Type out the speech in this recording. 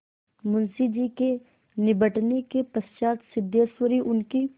मुंशी जी के निबटने के पश्चात सिद्धेश्वरी उनकी